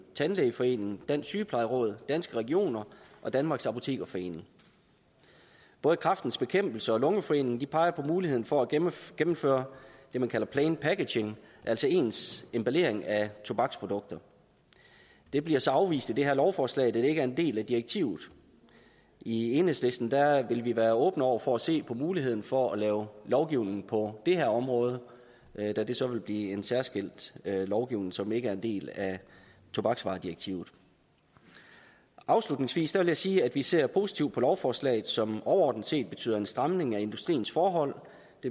tandlægeforeningen dansk sygeplejeråd danske regioner og danmarks apotekerforening både kræftens bekæmpelse og danmarks lungeforening peger på muligheden for at gennemføre gennemføre det man kalder plain packaging altså ens emballering af tobaksprodukter det bliver så afvist i det her lovforslag da det ikke er en del af direktivet i enhedslisten vil vi være åbne over for at se på muligheden for at lave lovgivning på det her område da det så vil blive en særskilt lovgivning som ikke er en del af tobaksvaredirektivet afslutningsvis vil jeg sige at vi ser positivt på lovforslaget som overordnet set betyder en stramning af industriens forhold